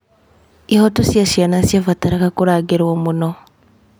Ihooto cia ciana ciabataraga kũrangĩrwo mũno.